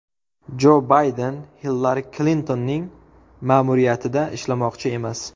Jo Bayden Hillari Klintonning ma’muriyatida ishlamoqchi emas.